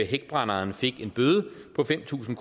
hækbrænderen fik en bøde på fem tusind